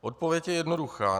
Odpověď je jednoduchá.